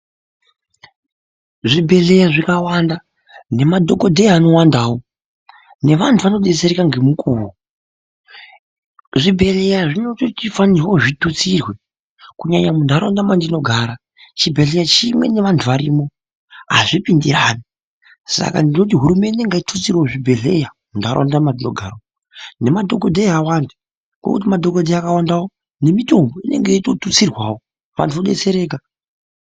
Zvibhehleya zvikawanda nemadhokodehya anowandawo nevantu vanodetsereka ngemukuwo zvibhehleya zvinotofanire kuti zvitutsirwe kunyanya munharaunda mandinogara chibhehleya chimwe nevanhu varimwo azvipindirani saka ndinoti hurumende ngaitutsirewo zvibhehleya munharaunda mwendinogara nemadhokodheya awande nekuti madhokodheya akawandawo nemitombo inenge yeitotutsirwawo vantu vodetsereka.